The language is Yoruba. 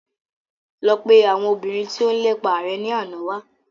Lọ pe ọmọ obìnrin tí ó ń lépa rẹ ni àná wá